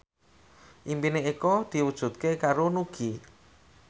impine Eko diwujudke karo Nugie